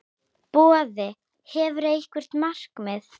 Boði: Hefurðu einhver markmið?